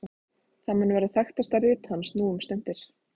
það mun vera þekktasta rit hans nú um stundir